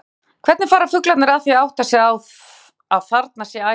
Sólveig: Hvernig fara fuglarnir að því að átta sig á að þarna sé æti?